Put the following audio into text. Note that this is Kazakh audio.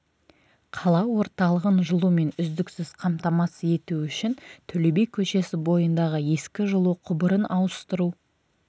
қала орталығын жылумен үздіксіз қамтамасыз ету үшін төле би көшесі бойындағы ескі жылу құбырын ауыстыру